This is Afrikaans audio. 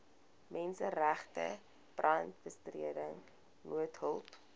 menseregte brandbestryding noodhulp